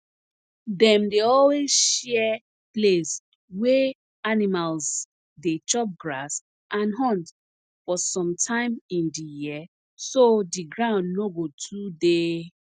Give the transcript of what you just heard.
dem dey always share place wey animals dey chop grass and hunt for some time in di year so di ground no go too dey